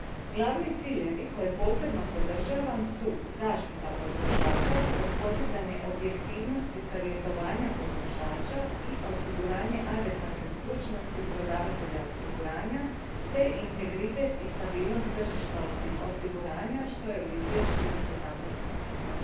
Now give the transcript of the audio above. Glavni ciljevi koje posebno podržavam su zaštita potrošača kroz podizanje objektivnosti savjetovanja potrošača i osiguranje adekvatne stručnosti prodavatelja osiguranja te integritet i stabilnost tržišta osiguranja što je u izvješću isto tako istaknuto.